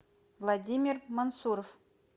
владимир мансуров